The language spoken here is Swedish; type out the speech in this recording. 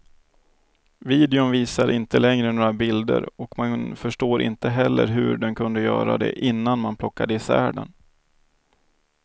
Videon visar inte längre några bilder och man förstår inte heller hur den kunde göra det innan man plockade isär den.